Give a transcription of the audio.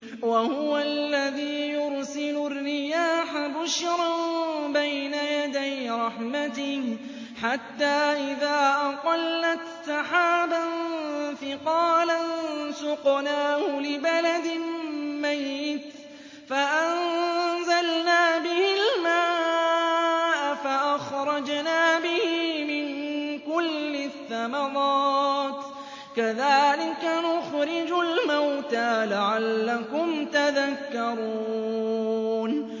وَهُوَ الَّذِي يُرْسِلُ الرِّيَاحَ بُشْرًا بَيْنَ يَدَيْ رَحْمَتِهِ ۖ حَتَّىٰ إِذَا أَقَلَّتْ سَحَابًا ثِقَالًا سُقْنَاهُ لِبَلَدٍ مَّيِّتٍ فَأَنزَلْنَا بِهِ الْمَاءَ فَأَخْرَجْنَا بِهِ مِن كُلِّ الثَّمَرَاتِ ۚ كَذَٰلِكَ نُخْرِجُ الْمَوْتَىٰ لَعَلَّكُمْ تَذَكَّرُونَ